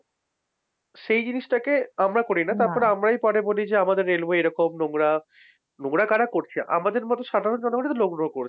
সেই জিনিসটাকে আমরা করি না তারপরে আমরাই পরে বলি যে আমাদের railway এরকম নোংরা। নোংরা কারা করছে আমাদের মত সাধারণ জনগণ এইতো নোংরা করছে।